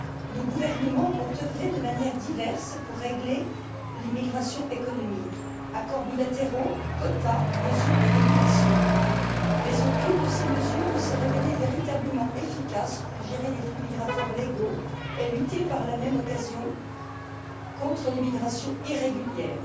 Nos gouvernements ont œuvré de manières diverses pour régler l'immigration économique accords bilatéraux, quotas, mesures de régulation mais aucune de ces mesures ne s'est révélée véritablement efficace pour gérer les flux migratoires légaux et lutter par la même occasion contre l'immigration irrégulière.